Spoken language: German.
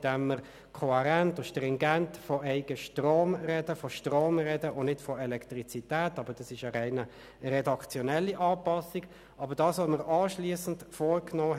Diesen Fragestellungen hat sich die BaK an ihrer Sitzung vom 8. Februar angenommen.